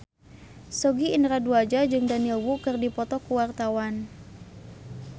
Sogi Indra Duaja jeung Daniel Wu keur dipoto ku wartawan